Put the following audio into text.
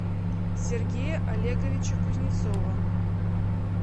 сергея олеговича кузнецова